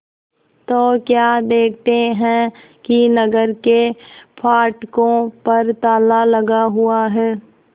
तो क्या देखते हैं कि नगर के फाटकों पर ताला लगा हुआ है